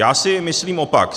Já si myslím opak.